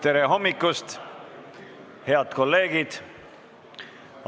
Tere hommikust, head kolleegid!